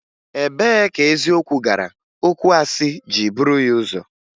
Ebee ka eziokwu gara okwuasị jiri buru ya ụzọ?